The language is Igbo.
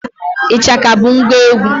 Ịchaka bụ ngwa egwu.